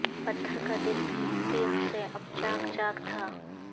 پتھر کا دل بھی تیغ سے اب چاک چاک تھا